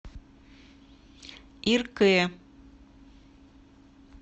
иркэ